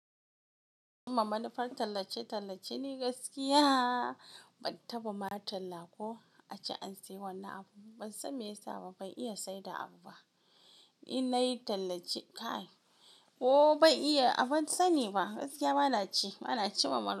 Cimma manufar tallace-tallace ne gaskiya. Ban taba ma talla ko a ce an sayi wannan abun ba. Ban san me yasa ba, ban iya saida abu ba. In nayi tallace kai, ban iya, ban sani ba. Gaskiya bana ci, bana ci ma manu--